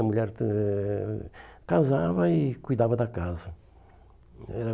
A mulher eh casava e cuidava da casa. Era